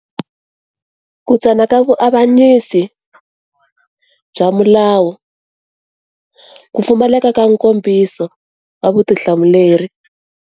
Ku tsana ka vuavanyisi, bya milawu. Ku pfumaleka ka nkombiso wa vutihlamuleri.